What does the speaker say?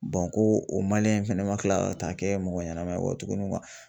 ko o in fana ma kila ka taa kɛ mɔgɔ ɲɛnama ye nkɔ tugunni